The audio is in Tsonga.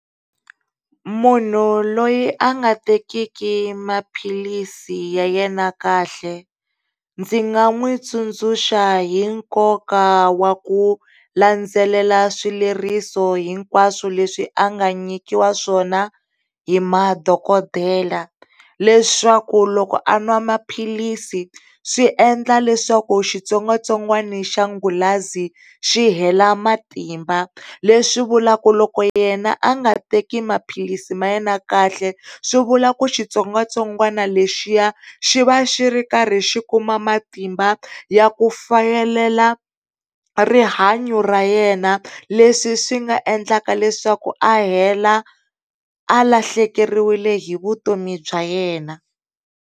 Munhu loyi a nga tekiki maphilisi ya yena kahle ndzi nga n'witsundzuxa hi nkoka wa ku landzelela swileriso hinkwaswo leswi a nga nyikiwa swona hi madokodela leswaku loko an'wa maphilisi swiendla leswaku xitsongwatsongwana xa qulazi xi hela matimba leswi vulavula loko yena a nga teki maphilisi ma yena kahle swivula ku xitsongwatsongwana lexiya xi va xikarhi xi kuma matimba ya ku fayelela rihanyo ra yena leswi swi nga endlaka leswaku a heta a lahlekeriwile hi vutomi bya yena.